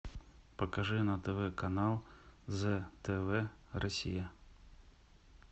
покажи на тв канал зэ тв россия